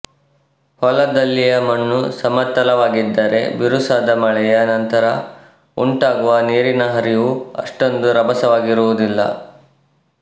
ಹೊಲದಲ್ಲಿಯ ಮಣ್ಣು ಸಮತಲವಾಗಿದ್ದರೆ ಬಿರುಸಾದ ಮಳೆಯ ನಂತರ ಉಂಟಾಗುವ ನೀರಿನ ಹರಿವು ಅಷ್ಟೊಂದು ರಭಸವಾಗಿರುವುದಿಲ್ಲ